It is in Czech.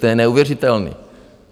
To je neuvěřitelné.